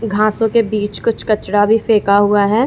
घासों के बीच कुछ कचरा भी फेंका हुआ है।